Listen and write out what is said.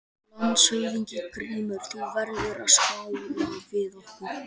LANDSHÖFÐINGI: Grímur, þú verður að skála við okkur!